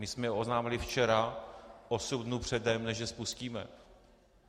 My jsme je oznámili včera, osm dnů předem, než je spustíme.